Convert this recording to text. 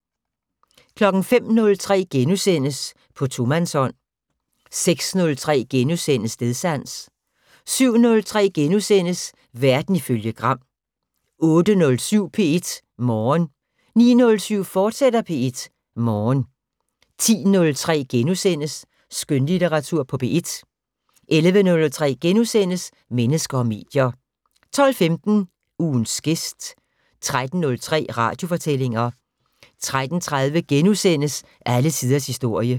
05:03: På tomandshånd * 06:03: Stedsans * 07:03: Verden ifølge Gram * 08:07: P1 Morgen 09:07: P1 Morgen, fortsat 10:03: Skønlitteratur på P1 * 11:03: Mennesker og medier * 12:15: Ugens gæst 13:03: Radiofortællinger 13:30: Alle tiders historie *